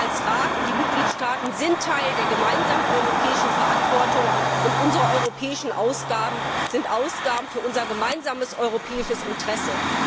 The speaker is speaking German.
Auch Sie als Rat und die Mitgliedstaaten sind Teil der gemeinsamen europäischen Verantwortung, und unsere europäischen Ausgaben sind Ausgaben für unser gemeinsames europäisches Interesse.